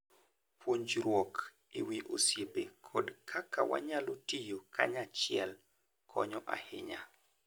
Puonjruok e wi osiepe kod kaka wanyalo tiyo kanyachiel konyo ahinya.